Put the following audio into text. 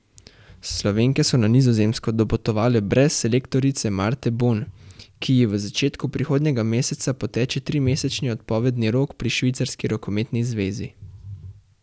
Slovenke so na Nizozemsko dopotovale brez selektorice Marte Bon, ki ji v začetku prihodnjega meseca poteče trimesečni odpovedni rok pri švicarski rokometni zvezi.